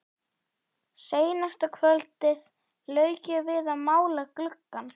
Seinasta kvöldið lauk ég við að mála gluggann.